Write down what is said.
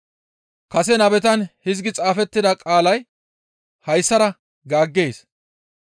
Kase nabetan hizgi xaafettida qaalay hayssara gaaggees.